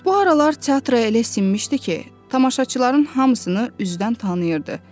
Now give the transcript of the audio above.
Bu aralar teatra elə sinmişdi ki, tamaşaçıların hamısını üzdən tanıyırdı.